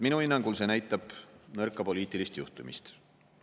Minu hinnangul see näitab nõrka poliitilist juhtimist.